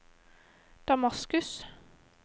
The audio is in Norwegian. Damaskus